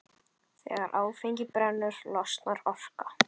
Þegar áfengi brennur losnar orka.